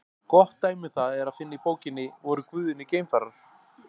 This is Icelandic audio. Gott dæmi um það er að finna í bókinni Voru guðirnir geimfarar?